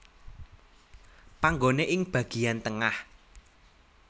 Panggone ing bagian tengah